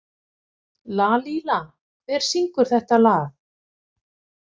Lalíla, hver syngur þetta lag?